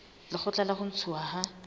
lekgotla la ho ntshuwa ha